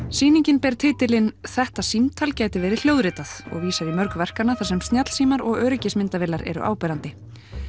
sýningin ber titilinn þetta símtal gæti verið hljóðritað og vísar í mörg verkanna þar sem snjallsímar og öryggismyndavélar eru áberandi